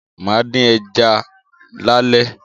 Máa dín ẹja lálé